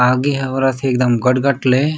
आगे हे औरत ह एकदम गठ-गठ ले--